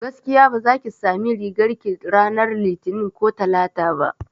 Gaskiya baza ki sami rigar ki ranar litini ko talata ba